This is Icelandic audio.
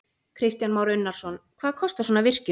Kristján Már Unnarsson: Hvað kostar svona virkjun?